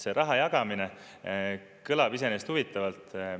See raha jagamine kõlab iseenesest huvitavalt.